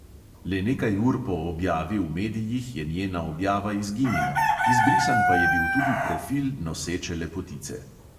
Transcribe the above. Le nekaj ur po objavi v medijih je njena objava izginila, izbrisan pa je bil tudi profil noseče lepotice.